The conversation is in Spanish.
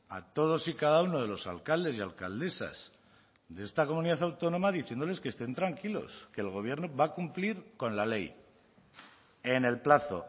a todos y cada uno de los alcaldes y alcaldesas de esta comunidad autónoma diciéndoles que estén tranquilos que el gobierno va a cumplir con la ley en el plazo